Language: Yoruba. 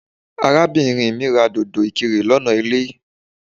Arábìnrin mí ra dòdò ìkirè lọ́nà ilé.